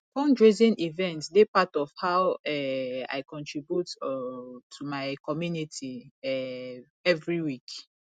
fundraising events dey part of how um i contribute um to my community um every week